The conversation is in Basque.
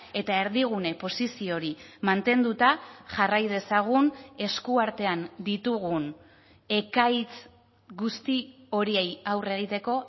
eta erdigune posizio hori mantenduta jarrai dezagun eskuartean ditugun ekaitz guzti horiei aurre egiteko